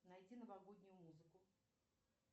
найди новогоднюю музыку